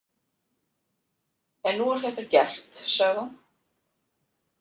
En nú er þetta gert, sagði hún.